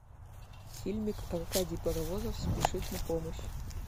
фильмик аркадий паровозов спешит на помощь